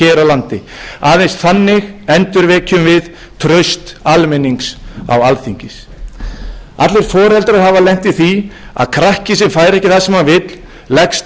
landi aðeins þannig endurvekjum við traust almennings á alþingi allir foreldrar hafa lent í því að krakki sem fær ekki það sem hann vill leggst á